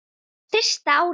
Fyrsta árið.